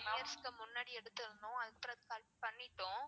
three years க்கு முன்னாடி எடுத்துருந்தோம். அதுக்கப்றம் பிறகு பண்ணிட்டோம்.